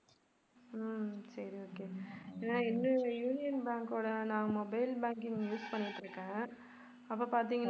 ஹம் சரி okay நான் என்னோட யூனியன் பேங்கோட நான் mobile banking use பண்ணிட்டிருக்கேன் அப்ப பார்த்தீங்கனா